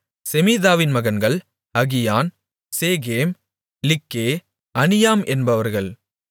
செமீதாவின் மகன்கள் அகியான் சேகேம் லிக்கே அனியாம் என்பவர்கள்